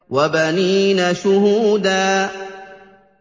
وَبَنِينَ شُهُودًا